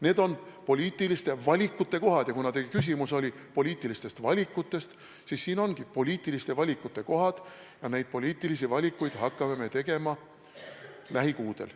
Need on poliitiliste valikute kohad ja kuna teie küsimus oli poliitilistest valikutest, siis siin ongi poliitiliste valikute kohad ja neid poliitilisi valikuid hakkame me tegema lähikuudel.